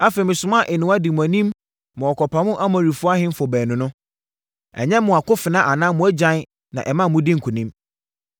Afei, mesomaa nnowa dii mo anim ma wɔkɔpamoo Amorifoɔ ahemfo baanu no. Ɛnyɛ mo akofena anaa mo agyan na ɛma modii nkonim.